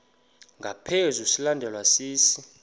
ngaphezu silandelwa sisi